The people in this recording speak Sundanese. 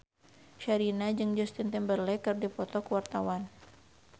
Sherina jeung Justin Timberlake keur dipoto ku wartawan